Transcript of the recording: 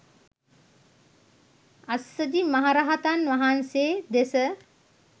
අස්සජි මහරහතන් වහන්සේ දෙස